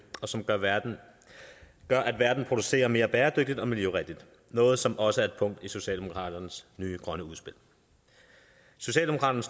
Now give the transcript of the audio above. og som gør at verden producerer mere bæredygtigt og miljørigtigt noget som også er et punkt i socialdemokratiets nye grønne udspil socialdemokratiet